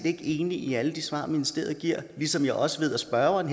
ikke enig i alle de svar ministeriet giver ligesom jeg også ved at spørgeren